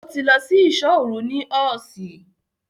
Ó ti lọ sí ìṣọ́ òru ní ọ́ọ̀ṣì.